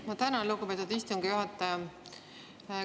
Ma tänan, lugupeetud istungi juhataja!